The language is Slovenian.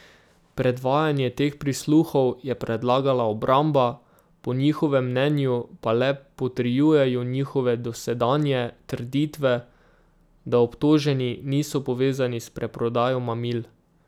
Predvajanje teh prisluhov je predlagala obramba, po njihovem mnenju pa le potrjujejo njihove dosedanje trditve, da obtoženi niso povezani s preprodajo mamil.